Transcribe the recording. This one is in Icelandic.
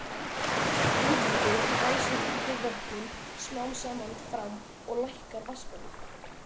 Útfallið ræsir einnig vötnin smám saman fram og lækkar vatnsborðið.